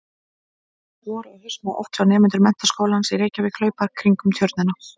Vor og haust má oft sjá nemendur Menntaskólans í Reykjavík hlaupa kringum Tjörnina.